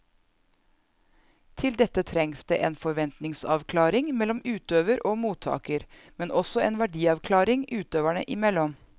Til dette trengs det en forventningsavklaring mellom utøver og mottaker, men også en verdiavklaring utøverne imellom.